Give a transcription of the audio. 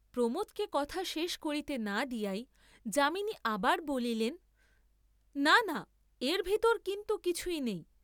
কিন্তু, প্রমোদকে কথা শেষ করিতে না দিয়াই যামিনী আবার বলিলেন না না এর ভিতর কিন্তু কিছুই নেই।